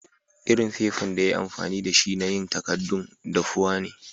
lrin fefan da ya yi amfani da shi na yin takadun dafuwa ne.